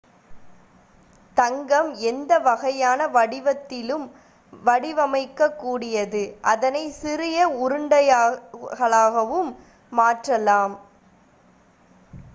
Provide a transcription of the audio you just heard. தங்கம் எந்த வகையான வடிவத்திலும் வடிவுவமைக்க கூடியது அதனை சிறிய உருண்டைகளாகவும் மாற்றலாம்